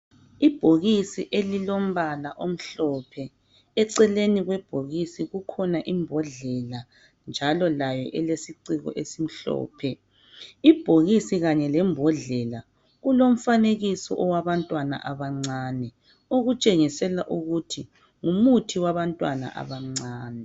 Ibhokisi elilombala omhlophe eceleni kwebhokisi kukhona imbodlela njalo layo ilesiciko esimhlophe ibhokisi kanye lembodlela kulomfanekiso owabantwana abancane okutshengisela ukuthi ngumuthi wabantwana abancane